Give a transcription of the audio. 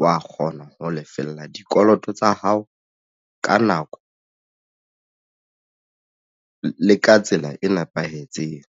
wa kgona ho lefella dikoloto tsa hao ka nako le ka tsela e nepahetseng.